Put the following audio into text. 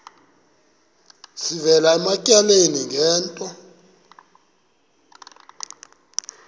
sivela ematyaleni ngento